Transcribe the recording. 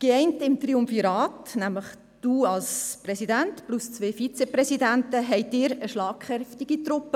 Geeint im Triumvirat, nämlich Sie als Präsident mit den zwei Vizepräsidenten, bildeten Sie eine schlagkräftige Truppe.